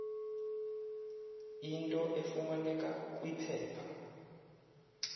into efumaneka kwiphepha